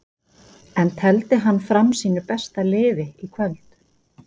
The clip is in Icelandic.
En tefldi hann fram sínu besta liði í kvöld?